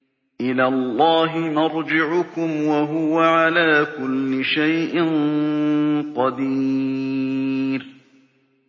إِلَى اللَّهِ مَرْجِعُكُمْ ۖ وَهُوَ عَلَىٰ كُلِّ شَيْءٍ قَدِيرٌ